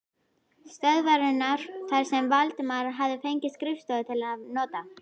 stöðvarinnar þar sem Valdimar hafði fengið skrifstofu til afnota.